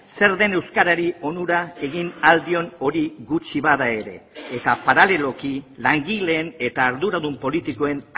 zer den euskarari onura egin ahal dion hori gutxi bada ere eta paraleloki langileen eta arduradun politikoen